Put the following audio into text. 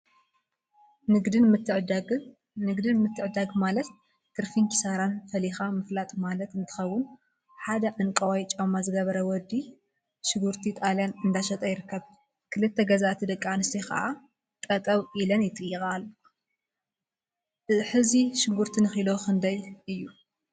ንግድን ምትዕድዳግን ንግድን ምትዕድዳን ማለት ትርፊን ኪሳራን ፈሊካ ምፍላጥ ማለት እንትኸውን፤ ሓደ ዕንቋይ ጫማ ዝገበረ ወዲ ሽጉርቲ ጣልያን እንዳሸጠ ይርከብ፡፡ ክልተ ገዛእቲ ደቂ አንስትዮ ከዓ ጠጠወ ኢለን ይጥይቃ አለዋ፡፡ ሕዚ ሽጉርቲ ንኪሎ ክንደይ እዩ?